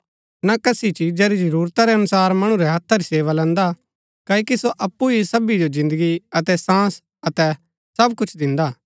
ना कसी चिजा री जरूरता रै अनुसार मणु रै हत्था री सेवा लैन्दा क्ओकि सो अप्पु ही सबी जो जिन्दगी अतै सांस अतै सब कुछ दिन्दा